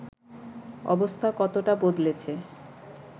অবস্থা কতটা বদলেছে